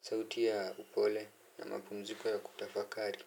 Sauti ya upole na mapumziko ya kutafakari.